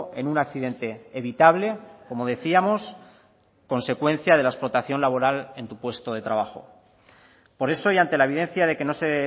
en un accidente evitable como decíamos consecuencia de la explotación laboral en tu puesto de trabajo por eso y ante la evidencia de que no se